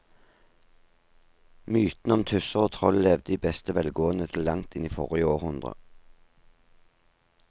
Mytene om tusser og troll levde i beste velgående til langt inn i forrige århundre.